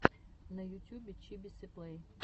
на ютюбе чибисы плэй